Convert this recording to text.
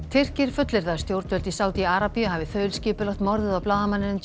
Tyrkir fullyrða að stjórnvöld í Sádi Arabíu hafi þaulskipulagt morðið á blaðamanninum